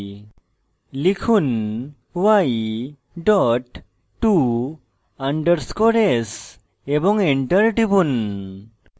লিখুন y dot to _ s এবং enter টিপুন